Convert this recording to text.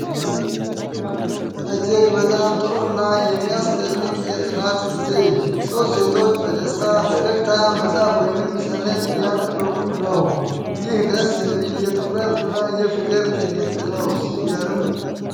እጅግ በጣም ጥሩ እና የሚያስደንቅ የጥናት ጊዜ! ሦስት ሴቶች በደስታ ፈገግታ መጽሐፍ ወይም ሰነድ እያነበቡ ነው። ይህ ደስ የሚል የትኩረት እና የፍቅር ትዕይንት ነው። ሲገርም!